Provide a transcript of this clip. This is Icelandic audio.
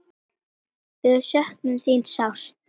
Við söknum þín sárt.